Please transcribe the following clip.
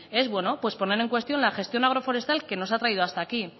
es poner en cuestión la gestión agroforestal que nos hasta aquí